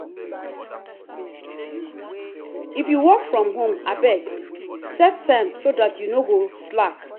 if you work from home abeg set time so you no go slack.